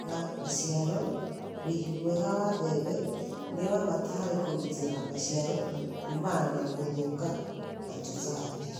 Kũiga maciaro: Wĩigi mwega wa mbembe nĩ wa bata harĩ kũgitĩra maciaro kũmana na gũthũka na tũtambi.